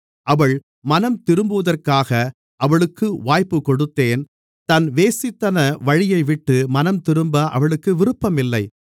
அவள் மனம்திரும்புவதற்காக அவளுக்கு வாய்ப்புக்கொடுத்தேன் தன் வேசித்தன வழியைவிட்டு மனம்திரும்ப அவளுக்கு விருப்பம் இல்லை